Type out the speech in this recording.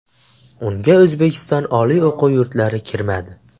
Unga O‘zbekiston oliy o‘quv yurtlari kirmadi.